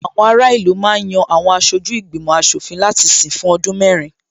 Àwọn ará ìlú ma ń yan Àwọn aṣojú ìgbìmò aṣòfin láti sìn fún ọdún mẹ́rin